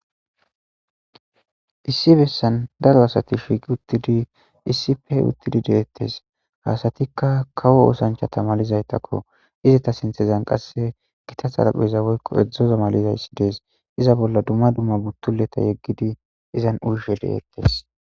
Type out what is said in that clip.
Issi besan daro asti shiiqi utidi issipe utidi de'etes asatika kawo osanchsta malizaytakko izeta sinthezan qase gita xarapheza woyko exoza malizays des iza bolla dumma dumma butuleta ekidi iazn uyishe detese